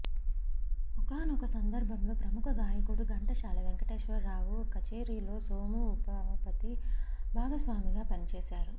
ఓకానోక సందర్బంలో ప్రముఖ గాయకుడు గంటశాల వేంకటేశ్వరరావు కచేరిలో సోమూ ఉమాపతి భాగస్వామిగా పనిచేశారు